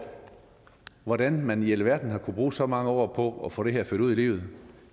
hvordan man i alverden har kunnet bruge så mange år på at få det her ført ud i livet